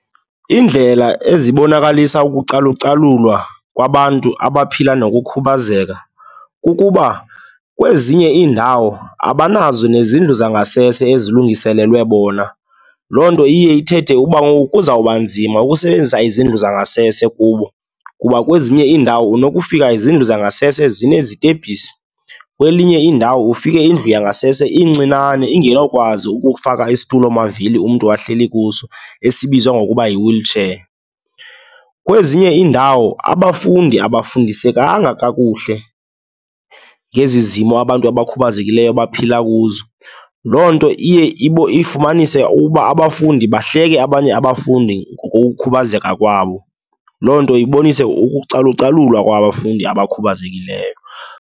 Iindlela ezibonakalisa ukucalucalulwa kwabantu abaphila nokukhubazeka kukuba kwezinye iindawo abanazo nezindlu zangasese ezilungiselelwe bona. Loo nto iye ithethe ukuba ngoku kuzawuba nzima ukusebenzisa izindlu zangasese kubo kuba kwezinye iindawo unokufaka izindlu zangasese zinezitebhisi, kwelinye iindawo ufike indlu yangasese incinane, ingenawukwazi ukufaka isitulomavili umntu ahleli kuso esibizwa ngokuba yi-wheelchair. Kwezinye iindawo abafundi abafundisekanga kakuhle ngezi zimo abantu abakhubazekileyo baphila kuzo, loo nto iye ifumanise uba abafundi bahleke abanye abafundi ngokukhubazeka kwabo. Loo nto ibonise ukucalucalulwa kwabafundi abakhubazekileyo.